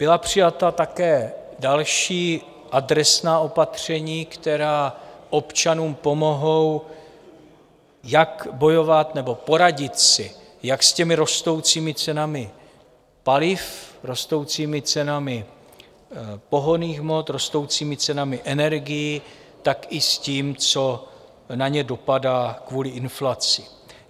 Byla přijata také další adresná opatření, která občanům pomohou, jak bojovat nebo poradit si jak s těmi rostoucími cenami paliv, rostoucími cenami pohonných hmot, rostoucími cenami energií, tak i s tím, co na ně dopadá kvůli inflaci.